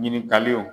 Ɲininkaliw